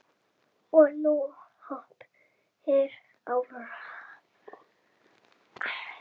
Og nú opinber árás!